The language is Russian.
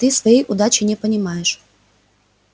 ты своей удачи не понимаешь